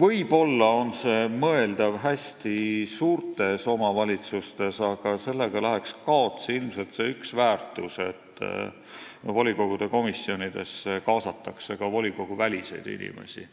võib-olla on see mõeldav hästi suurtes omavalitsustes, aga sellega läheks ilmselt kaotsi see väärtus, et volikogude komisjonidesse kaasatakse ka volikoguväliseid inimesi.